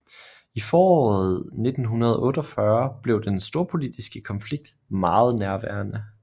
I foråret 1948 blev den storpolitiske konflikt meget nærværende